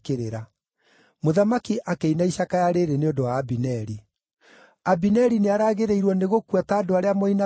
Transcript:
Mũthamaki akĩina icakaya rĩĩrĩ nĩ ũndũ wa Abineri: “Abineri nĩaragĩrĩirwo nĩgũkua ta andũ arĩa moinaga watho?